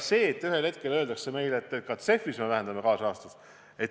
Ühel hetkel võidakse meile öelda, et ka CEF-is me vähendame kaasrahastust.